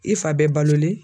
I fa bɛ balolen